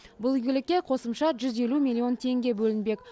бұл игілікке қосымша жүз елу миллион теңге бөлінбек